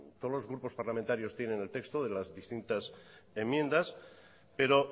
todos los grupos parlamentarios tienen el texto de las distintas enmiendas pero